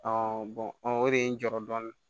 o de ye n jɔyɔrɔ dɔɔni